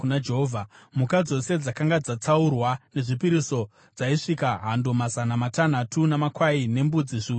Mhuka dzose dzakanga dzatsaurwa sezvipiriso dzaisvika hando mazana matanhatu namakwai nembudzi zviuru zvitatu.